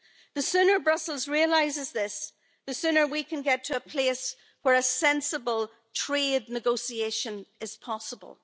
The sooner Brussels realises this, the sooner we can get to a place where a sensible trade negotiation as possible.